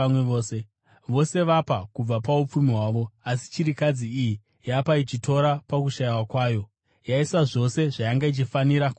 Vose vapa kubva paupfumi hwavo; asi chirikadzi iyi yapa, ichitora pakushayiwa kwayo, yaisa zvose zvayanga ichifanira kurarama nazvo.”